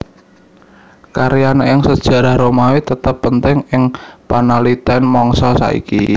Karyane ing sejarah Romawi tetep penting ing panaliten mangsa saiki